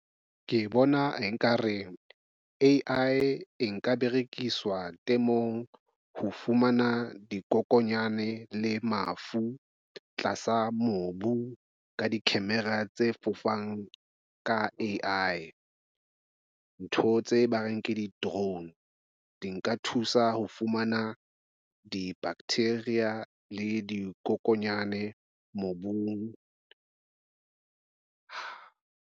Ke bona ekare A_I nka berekiswa temong. Ho fumana dikokonyane le mafu tlasa mobu ka di-camera tse fofang ka. Ntho tse ba reng ke di-drone di nka thusa ho fumana di bacteria le dikokonyane mobung.